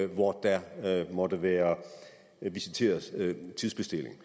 hvor der måtte være visiteret tidsbestilling